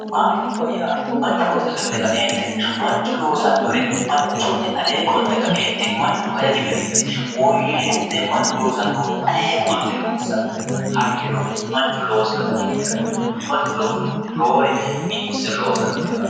Mashiinuwwa yaa manchu loosannota ikkite kaeentinni manchu loosinnore manchunni alee qolte ka'eentinni manchu hajaji garinni woyyeessite mannu loosannohu alee qolte loossanno hayyo manchu loosinota ikkite ka'eentinni manchu loosinohunni roore biifisse loossannote yaate.